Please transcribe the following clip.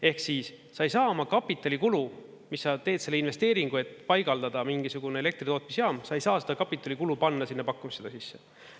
Ehk siis sa ei saa oma kapitalikulu, mis sa teed selle investeeringu, et paigaldada mingisugune elektritootmisjaam, sa ei saa seda kapitalikulu panna sinna pakkumisse sisse.